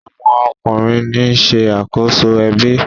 awọn ọkunrin ní ṣe akoso ebi.